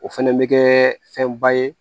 O fɛnɛ bɛ kɛ fɛnba ye